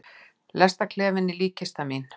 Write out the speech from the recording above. Lestarklefinn er líkkistan mín.